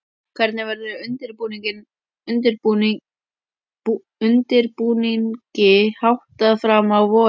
Hvernig verður undirbúningi háttað fram á vorið?